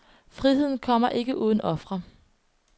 Friheden kommer ikke uden ofre.